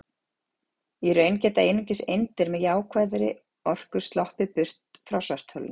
í raun geta einungis eindir með jákvæða orku sloppið burt frá svartholinu